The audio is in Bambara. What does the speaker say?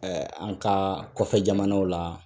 Ɛ an ka kɔfɛ jamanaw la